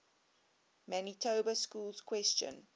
manitoba schools question